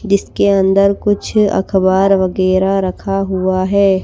जिसके अंदर कुछ अखबार वगैरह रखा हुआ है।